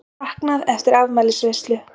Saknað eftir afmælisveislu